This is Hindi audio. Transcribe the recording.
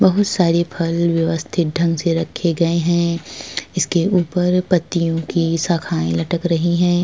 बहुत सारे फल व्यवस्थित ढंग से रखे गए हैं। इसके ऊपर पत्तियों की शाखाएं लटक रही हैं।